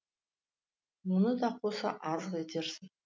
оны да қоса азық етерсің